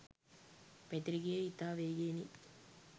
පැතිර ගියේ ඉතා වේගයෙනි.